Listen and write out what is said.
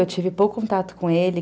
Eu tive pouco contato com ele.